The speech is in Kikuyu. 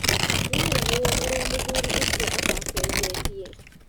Nĩarigirwo ũrĩa mũthuri ũcio atacenjetie